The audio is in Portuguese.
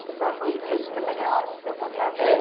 Você estava falando que foi super legal esse teu contato